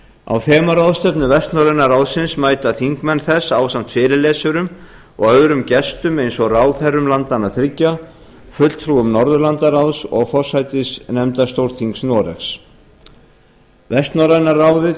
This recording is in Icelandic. á þemaráðstefnu vestnorræna ráðsins mæta þingmenn þess ásamt fyrirlesurum og öðrum gestum eins og ráðherrum landanna þriggja fulltrúum norðurlandaráðs og forsætisnefndar stórþings noregs vestnorræna ráðið